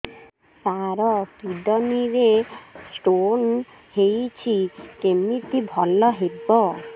ସାର kidney ରେ stone ହେଇଛି କମିତି ଭଲ ହେବ